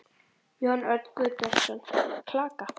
Jón Örn Guðbjartsson: Klaka?